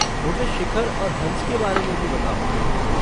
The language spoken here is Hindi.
मुझे शिखर और हंस के बारे में भी बताओ।